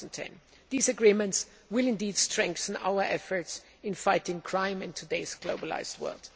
2010. These agreements will strengthen our efforts in fighting crime in today's globalised world.